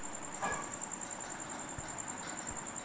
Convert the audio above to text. ऐन न्यू इयरच्या तोंडावर राज्यात बीअर महागणार